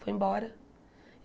Foi embora.